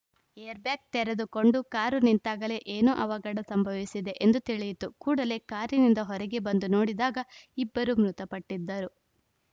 airbag ತೆರೆದುಕೊಂಡು car ನಿಂತಾಗಲೇ ಏನೋ ಅವಘಡ ಸಂಭವಿಸಿದೆ ಎಂದು ತಿಳಿಯಿತು ಕೂಡಲೇ ಕಾರಿನಿಂದ ಹೊರಗೆ ಬಂದು ನೋಡಿದಾಗ ಇಬ್ಬರು ಮೃತಪಟ್ಟಿದ್ದರು